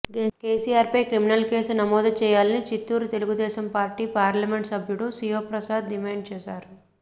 కెసిఆర్పై criminal case నమోదు చేయాలని Chittoor Telugu Desam party parliament సభ్యుడు శివప్రసాద్ డిమాండ్ చేశారు